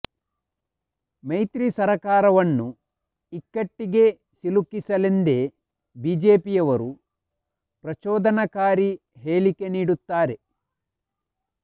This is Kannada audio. ಮೈತ್ರಿ ಸರ್ಕಾರವನ್ನು ಇಕ್ಕಟ್ಟಿಗೆ ಸಿಲುಕಿಸಲೆಂದೇ ಬಿಜೆಪಿಯವರು ಪ್ರಚೋದನಕಾರಿ ಹೇಳಿಕೆ ನೀಡುತ್ತಾರೆ